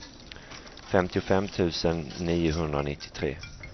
femtiofem tusen niohundranittiotre